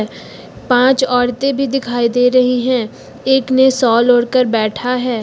पांच औरतें भी दिखाई दे रही हैं एक ने साल ओढ़ कर बैठा है।